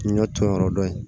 Ɲɔ tɔnyɔrɔ dɔ ye